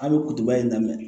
A bɛ kutuba in daminɛ